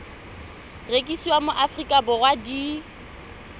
rekisiwa mo aforika borwa di